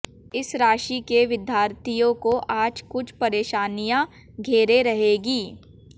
इस राशि के विद्यार्थियों को आज कुछ परेशानियां घेरे रहेंगी